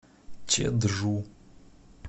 чеджу